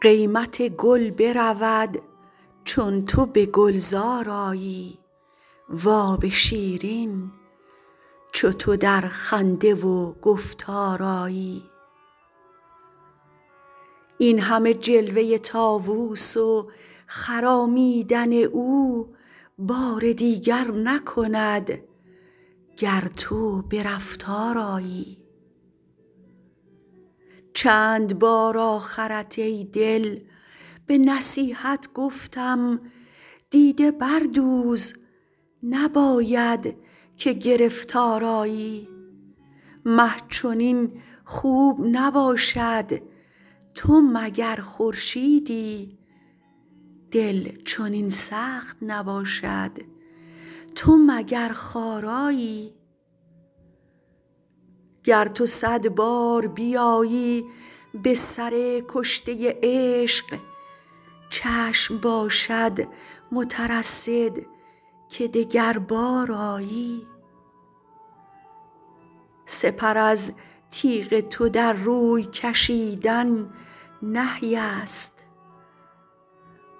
قیمت گل برود چون تو به گلزار آیی و آب شیرین چو تو در خنده و گفتار آیی این همه جلوه طاووس و خرامیدن او بار دیگر نکند گر تو به رفتار آیی چند بار آخرت ای دل به نصیحت گفتم دیده بردوز نباید که گرفتار آیی مه چنین خوب نباشد تو مگر خورشیدی دل چنین سخت نباشد تو مگر خارایی گر تو صد بار بیایی به سر کشته عشق چشم باشد مترصد که دگربار آیی سپر از تیغ تو در روی کشیدن نهی است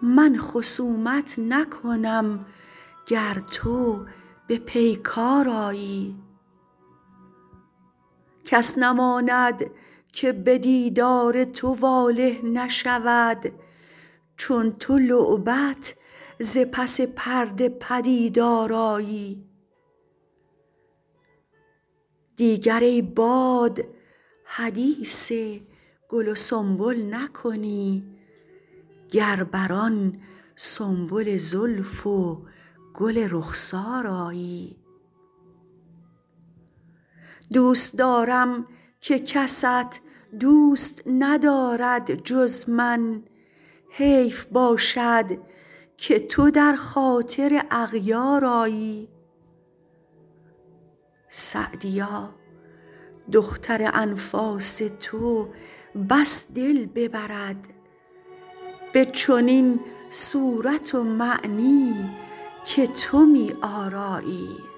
من خصومت نکنم گر تو به پیکار آیی کس نماند که به دیدار تو واله نشود چون تو لعبت ز پس پرده پدیدار آیی دیگر ای باد حدیث گل و سنبل نکنی گر بر آن سنبل زلف و گل رخسار آیی دوست دارم که کست دوست ندارد جز من حیف باشد که تو در خاطر اغیار آیی سعدیا دختر انفاس تو بس دل ببرد به چنین صورت و معنی که تو می آرایی